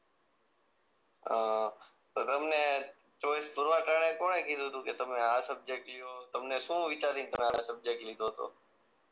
અ તો તમને ચોઈસ કરવા તાળે કોણે કીધું તું કે તમે આ સબ્જેક્ટ લો તમને શું વિચારી ન તમે આમાં સબ્જેક્ટ લીધો તો?